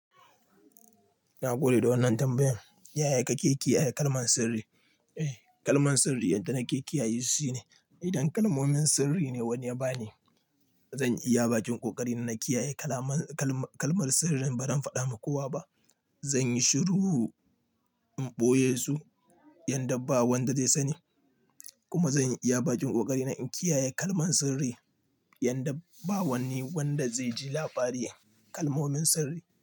Na gode da wannan tambayan. Ya yake kiyaye kalman sirri? Eh, kalman sirri yadda na kiyaye su shine idan kalmomin sirri ne wani ya bani, zan iya ba kin ƙoƙari na na kiyaye kalaman kalma kalmar sirrin ba zan faɗa ma kowa ba. Zanyi shiru in ɓoye su yanda ba wanda zai sani kuma zan iya ba kin ƙoƙari na in kiyaye kalman sirri yanda ba wani wanda zai ji labari kalmomin sirri.